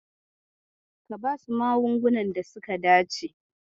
Ka basu magungunan da suka dace.